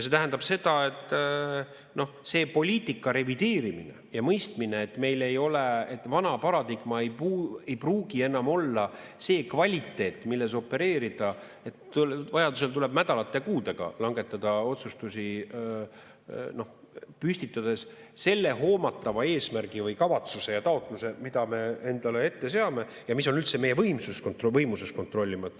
See tähendab seda, et see poliitika revideerimine ja mõistmine, et vana paradigma ei pruugi enam olla see kvaliteet, milles opereerida, ja vajadusel tuleb nädalate ja kuudega langetada otsustusi, püstitades selle hoomatava eesmärgi või kavatsuse ja taotluse, mida me endale ette seame ja mida on meie võimuses kontrollida.